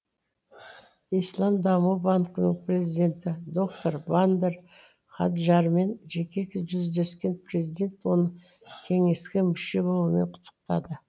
ислам даму банкінің президенті доктор бандар хаджармен жеке жүздескен президент оны кеңеске мүше болуымен құттықтады